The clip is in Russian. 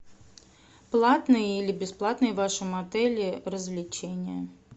платные или бесплатные в вашем отеле развлечения